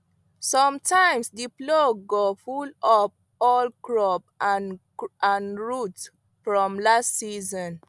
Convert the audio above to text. sometimes the plow go pull up old crop and root from last season